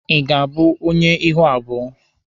Ị ga-abụ onye ihu abụọ?